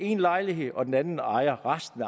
en lejlighed og den anden ejer resten